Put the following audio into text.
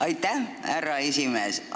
Aitäh, härra esimees!